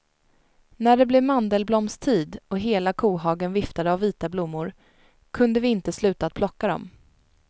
När det blev mandelblomstid och hela kohagen viftade av vita blommor, kunde vi inte sluta att plocka dem.